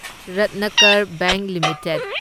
Ratnakar bank limited